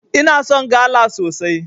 Ina son gala sosai.